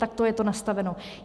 Takto je to nastaveno.